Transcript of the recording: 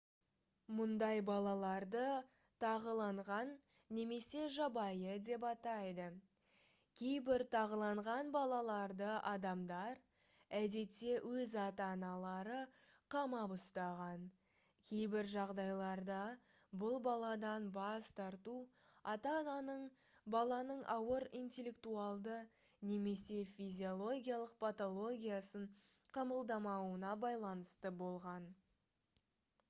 мұндай балаларды тағыланған немесе жабайы деп атайды. кейбір тағыланған балаларды адамдар әдетте өз ата-аналары қамап ұстаған; кейбір жағдайларда бұл баладан бас тарту ата-ананың баланың ауыр интеллектуалды немесе физиологиялық патологиясын қабылдамауына байланысты болған